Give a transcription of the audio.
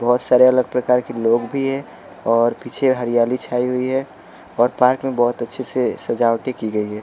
बहुत सारे अलग प्रकार के लोग भी हैं और पीछे हरियाली छाई हुई है और पार्क में बहुत अच्छे से सजावटी की गई है।